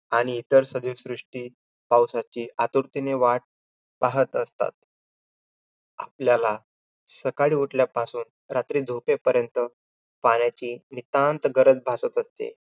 आणि इतर सर्व सृष्टी पावसाची आतुरतेने वाट पाहत असतात. आपल्याला सकाळी उठल्यापासून, रात्री झोपेपर्यंत पाण्याची नितांत गरज भासत असते.